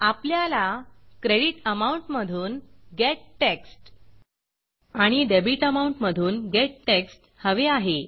आपल्याला creditAmountक्रेडिट अमाउंट मधून getTextगेट टेक्स्ट आणि debitAmountडेबिट अमाउंट मधून getTextगेट टेक्स्ट हवे आहे